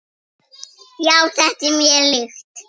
Já, þetta er mér líkt.